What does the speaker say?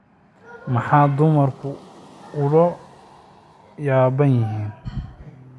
Maxay dumarku ula yaabban yihiin?